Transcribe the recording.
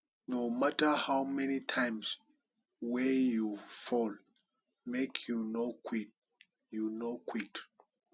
no mata how many times wey you fall make you no quit you no quit